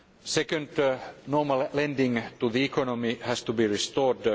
Second, that normal lending to the economy has to be restored.